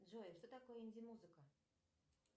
джой что такое инди музыка